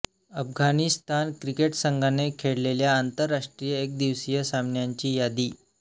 Afghanistan cricket संघाने खेळलेल्या आंतरराष्ट्रीय एकदिवसीय सामन्यांची यादी